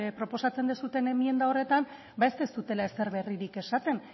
proposatzen duzuen emienda horretan ez duzuela ezer berririk esaten